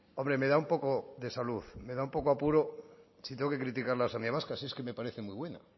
hombre me da un poco de salud me da un poco de apuro si tengo que criticar la sanidad vasca si es que me parece muy buena